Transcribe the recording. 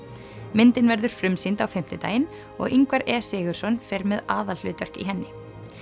myndin verður frumsýnd á fimmtudaginn og Ingvar e Sigurðsson fer með aðalhlutverk í henni